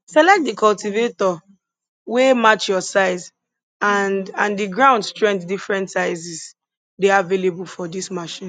select di cultivator wey match your size and and di ground strength different sizes dey available for dis machine